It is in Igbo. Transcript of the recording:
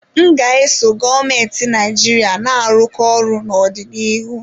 M ga-eso gọọmentị Naijiria na-arụkọ ọrụ n'ọdịnihu.